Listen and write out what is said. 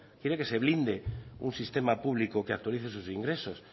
quieren que se blinde un sistema público que actualice sus ingresos